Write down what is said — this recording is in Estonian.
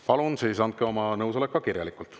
Palun siis andke oma nõusolek ka kirjalikult.